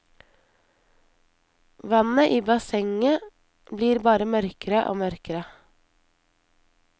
Vannet i bassenget blir bare mørkere og mørkere.